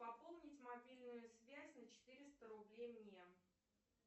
пополнить мобильную связь на четыреста рублей мне